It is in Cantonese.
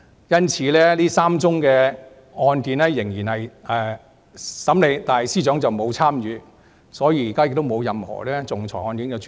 因此，這3宗個案雖然仍然進行審理，但司長已經沒有參與，現時亦沒有任何其他仲裁案件正在處理。